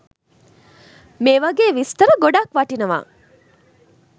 මේ වගේ විස්තර ගොඩක් වටිනවා.